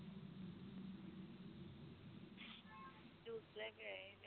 juice ਲੈ ਕੇ ਆਈ daddy